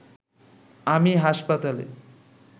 আমি হাসপাতালে